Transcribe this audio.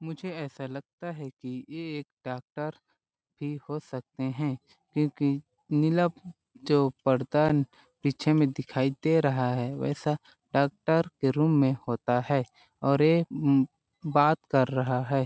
मुझे ऐसा लगता है की ये एक डॉक्टर भी हो सकते है क्यों कि नीला जो पर्दा पीछे में दिखाई दे रहा है वैसा डॉक्टर के रूम में होता है और ये बात कर रहा है।